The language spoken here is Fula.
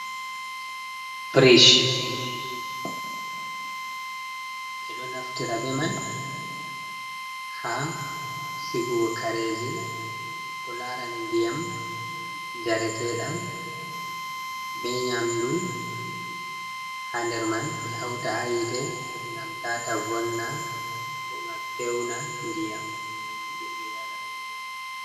Frish, ɓe ɗo naftira be mai ha sigugo kareji ko larani ndiyam njareteeɗam be nyamɗu ha nder mai. Ɓe hauta ha yite ngam tata vonna, bo ngam fewna ndiyam, jei ɓe yarata.